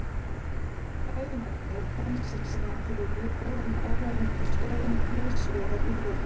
Fræðingarnir koma sér síðan fyrir í góðum áhrifamiklum stöðum víðsvegar í þjóðfélaginu.